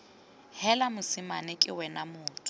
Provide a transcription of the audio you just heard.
heela mosimane ke wena motho